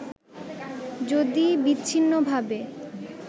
যদি বিচ্ছিন্নভাবে